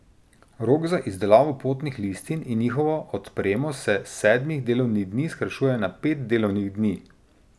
Rok za izdelavo potnih listin in njihovo odpremo se s sedmih delovnih dni skrajšuje na pet delovnih dni.